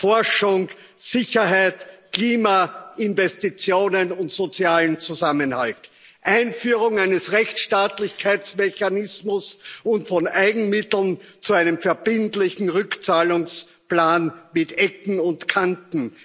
Forschung, Sicherheit, Klimainvestitionen und sozialen Zusammenhalt, Einführung eines Rechtsstaatlichkeitsmechanismus und von Eigenmitteln zu einem verbindlichen Rückzahlungsplan mit Ecken und Kanten.